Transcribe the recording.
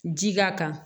Ji ka kan